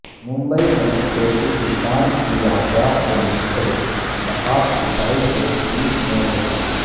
ممبئی میں ٹیپوسلطان کی یادگار سے منسلک نقاب کشائی کو پولیس نے روکا